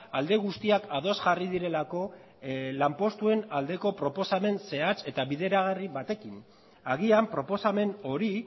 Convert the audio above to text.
alde guztiak ados jarri direlako lanpostuen aldeko proposamen zehatz eta bideragarri batekin agian proposamen hori